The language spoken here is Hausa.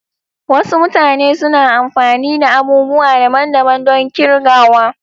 Wasu mutane suna amfani da abubuwa daban-daban don kirgawa.